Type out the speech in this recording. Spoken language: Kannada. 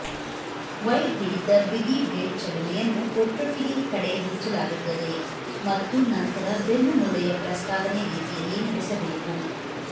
ವೈಡ್ ಹಿಡಿತ ಬಿಗಿ ಬ್ಲೇಡ್ ಚಲನೆಯನ್ನು ಒಟ್ಟೊಟ್ಟಿಗೇ ಕಡೆ ಹಂಚಲಾಗುತ್ತದೆ ಮತ್ತು ನಂತರ ಬೆನ್ನುಮೂಳೆಯ ಪ್ರಸ್ತಾವನೆ ರೀತಿಯಲ್ಲಿ ನಡೆಸಬೇಕು